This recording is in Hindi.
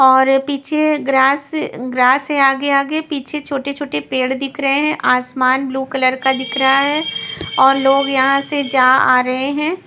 और पीछे ग्रास ग्रास से आगे आगे पीछे छोटे-छोटे पेड़ दिख रहे हैं आसमान ब्लू कलर का दिख रहा है और लोग यहां से जा आ रहे हैं।